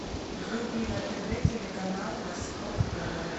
вруби на тв телеканал восток тв